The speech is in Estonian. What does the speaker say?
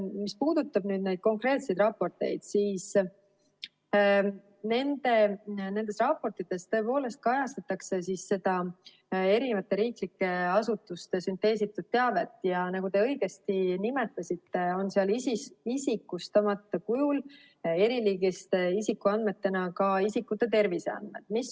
Mis puudutab neid konkreetseid raporteid, siis nendes raportites kajastatakse erinevate riiklike asutuste sünteesitud teavet ja nagu te õigesti nimetasite, on seal isikustamata kujul eriliigiliste isikuandmetena ka isikute terviseandmed.